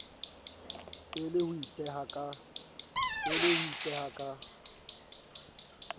e le ho ipeha ka